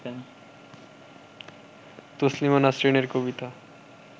তসলিমা নাসরিনের কবিতা